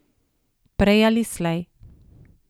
Prej ali slej.